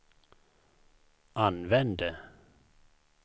använde